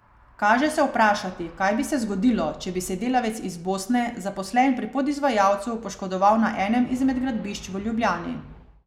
Kaže se vprašati, kaj bi se zgodilo, če bi se delavec iz Bosne, zaposlen pri podizvajalcu, poškodoval na enem izmed gradbišč v Ljubljani.